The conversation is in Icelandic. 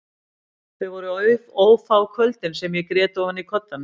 Þau voru ófá kvöldin sem ég grét ofan í koddann minn.